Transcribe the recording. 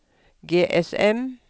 GSM